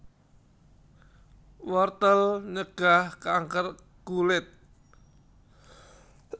Wortel nyegah kanker kulit